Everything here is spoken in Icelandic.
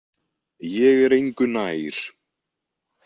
Ég er engu nær.